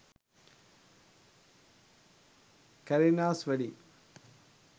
kareena’s wedding